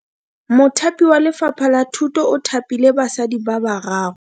Mothapi wa Lefapha la Thuto o thapile basadi ba ba raro.